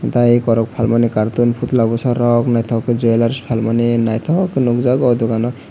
tei eko rok phalmani cartoon phutla bwsarok naithok khe jwellers phalmani naithokkhe nukjak oh dukan o.